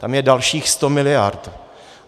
Tam je dalších 100 mld.